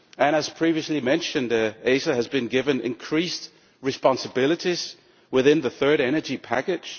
As previously mentioned, ACER has been given increased responsibilities within the third energy package.